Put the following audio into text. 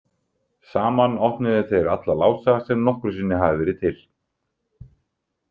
Saman opnuðu þeir alla lása sem nokkru sinni hafa verið til.